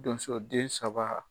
Donso den saba